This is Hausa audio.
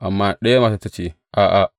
Amma ɗaya matar ta ce, A’a!